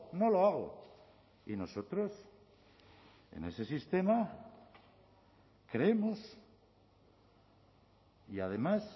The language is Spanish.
no lo hago y nosotros en ese sistema creemos y además